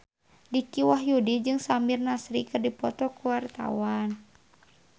Dicky Wahyudi jeung Samir Nasri keur dipoto ku wartawan